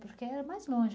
Porque era mais longe,